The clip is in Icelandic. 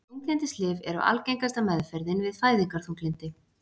Þunglyndislyf eru algengasta meðferðin við fæðingarþunglyndi.